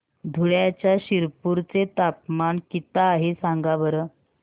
धुळ्याच्या शिरपूर चे तापमान किता आहे सांगा बरं